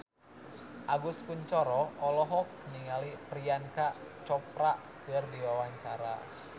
Agus Kuncoro olohok ningali Priyanka Chopra keur diwawancara